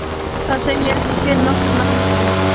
Það segi ég ekki fyrir nokkurn mun.